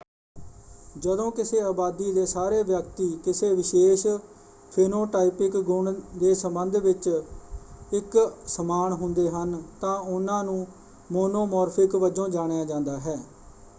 ਜਦੋਂ ਕਿਸੇ ਆਬਾਦੀ ਦੇ ਸਾਰੇ ਵਿਅਕਤੀ ਕਿਸੇ ਵਿਸ਼ੇਸ਼ ਫੀਨੋਟਾਈਪਿਕ ਗੁਣ ਦੇ ਸੰਬੰਧ ਵਿੱਚ ਇਕ ਸਮਾਨ ਹੁੰਦੇ ਹਨ ਤਾਂ ਉਹਨਾਂ ਨੂੰ ਮੋਨੋਮੋਰਫਿਕ ਵਜੋਂ ਜਾਣਿਆ ਜਾਂਦਾ ਹੈ।